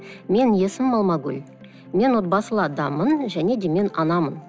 менің есімім алмагүл мен отбасылы адаммын және де мен анамын